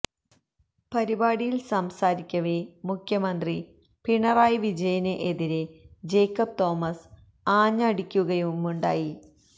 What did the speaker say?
പരിപാടിയില് സംസാരിക്കവേ മുഖ്യമന്ത്രി പിണറായി വിജയന് എതിരെ ജേക്കബ് തോമസ് ആഞ്ഞടിക്കുകയുമുണ്ടായി